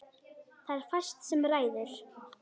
Það er fæst sem ræður.